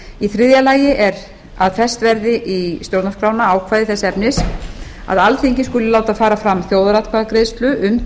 í þriðja lagi er að fest verði í stjórnarskrána ákvæði þess efnis að alþingi skuli láta fara fram þjóðaratkvæðagreiðslu um